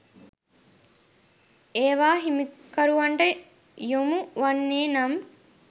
ඒවා හිමිකරුවන්ට යොමු වන්නේ නම්